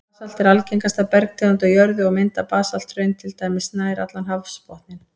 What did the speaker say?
Basalt er algengasta bergtegund á jörðu, og mynda basalthraun til dæmis nær allan hafsbotninn.